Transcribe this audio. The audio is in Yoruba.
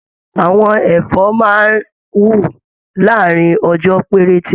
Àwọn ẹfọ máa n wú láàrin ọjọ perete.